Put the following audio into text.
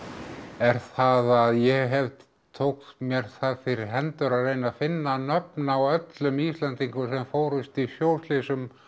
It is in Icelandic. er það að ég tók mér það fyrir hendur að reyna að finna nöfn á öllum Íslendingum sem fórust í sjóslysum